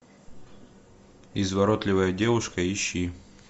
изворотливая девушка ищи